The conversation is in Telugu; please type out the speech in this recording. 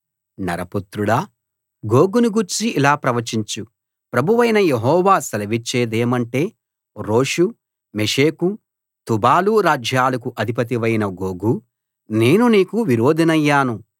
నరపుత్రుడా గోగును గూర్చి ఇలా ప్రవచించు ప్రభువైన యెహోవా సెలవిచ్చేదేమంటే రోషు మెషెకు తుబాలు రాజ్యాలకు అధిపతివైన గోగూ నేను నీకు విరోధినయ్యాను